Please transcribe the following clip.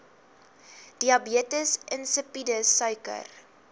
diabetes insipidus suiker